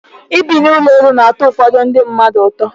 Ịbi n'ụlọ elu na-atọ ụfọdụ ndị mmadụ ụtọ.